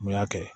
N y'a kɛ